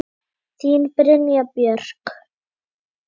Þín Brynja Björk.